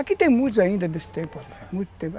Aqui tem muitos ainda desse tempo, muito tempo.